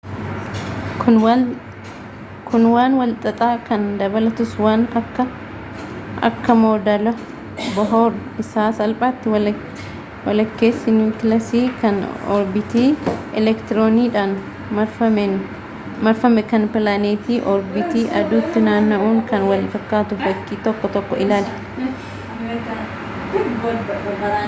kun waan wal xaxxa kan dabalatuus waan akka akka moodela bohoor isa salphaatti walakkessi niwuukilaasi kan orbiitii eleektironidhan marfaame kan pilaanetii orbiiti aduutti naanna'uun kan wal fakkatuu fakkii 1.1 ilaali